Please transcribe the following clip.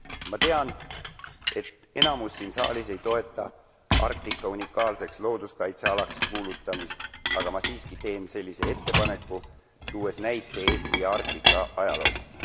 Ma tean, et enamus siin saalis ei toeta Arktika unikaalseks looduskaitsealaks kuulutamist, aga ma siiski teen sellise ettepaneku, tuues näite Eesti Arktika ajaloost.